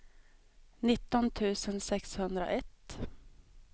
nitton tusen sexhundraett